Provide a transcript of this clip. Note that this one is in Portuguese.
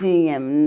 Tinha. Hum